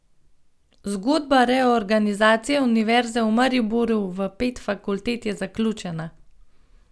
Zgodba reorganizacije Univerze v Mariboru v pet fakultet je zaključena!